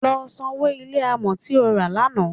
Lọ sanwó ilé amọ̀ tí o rà lánàá.